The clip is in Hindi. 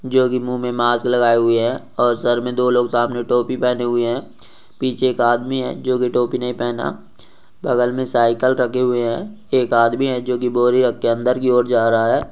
जो की मुंह मे मास्क लगाए हुए है और सर मे दो लोग सामने टोपी पहने हुए है पीछे एक आदमी है जो की टोपी नहीं पहना बगल मे साइकिल रखी हुई है एक आदमी है जो की बोरी रख के अंदर की और जा रहा है।